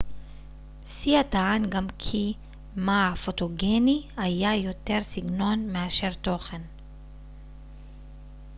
סייה טען גם כי מא הפוטוגני היה יותר סגנון מאשר תוכן